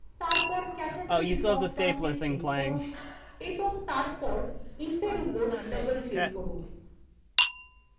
তারপর category ড্রপডাউনএ click করুন এবং তারপর if এর উপর double click করুন